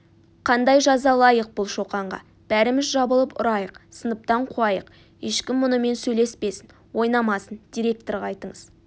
қандай жаза лайық бұл шоқанға бәріміз жабылып ұрайық сыныптан қуайық ешкім мұнымен сөйлеспесін ойнамасын директорға айтыңыз